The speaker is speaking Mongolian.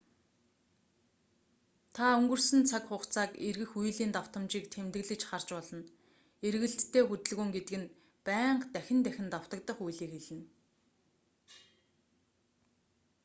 та өнгөрсөн цаг цаг хугацааг эргэх үйлийн датамжийг тэмдэглэж харж болно эргэлттэй хөдөлгөөн гэдэг нь байнга дахин дахин давтагдах үйлийг хэлнэ